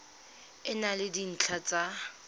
e na le dintlha tsa